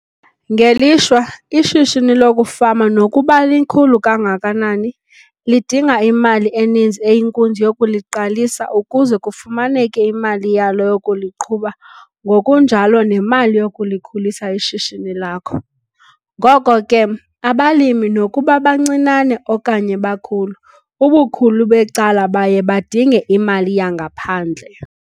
Ngelishwa, ishishini lokufama nokuba likhulu kangakanani, lidinga imali eninzi eyinkunzi yokuliqalisa ukuze kufumaneke imali yalo yokuliqhuba ngokunjalo nemali yokulikhulisa ishishini lakho. Ngoko ke, abalimi nokuba bancinane okanye bakhulu, ubukhulu becala baye badinge imali yangaphandle.